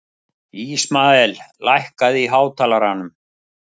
Ísmael, lækkaðu í hátalaranum.